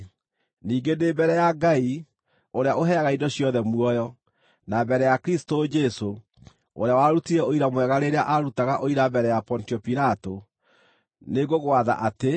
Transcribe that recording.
Ningĩ ndĩ mbere ya Ngai, ũrĩa ũheaga indo ciothe muoyo, na mbere ya Kristũ Jesũ, ũrĩa warutire ũira mwega rĩrĩa aarutaga ũira mbere ya Pontio Pilato, nĩ ngũgwatha atĩ